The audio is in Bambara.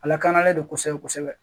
A lakanalen don kosɛbɛ kosɛbɛ